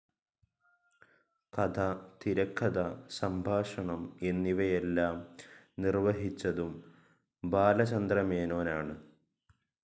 കഥ, തിരകഥ, സംഭാഷണം എന്നിവയെല്ലാം നിർവ്വഹിച്ചതും ബാലചന്ദ്രമേനോൻ ആണ്.